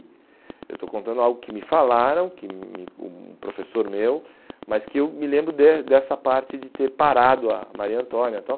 Eu estou contando algo que me falaram, que me um professor meu, mas que eu me lembro des dessa parte de ter parado a Maria Antônia e tal.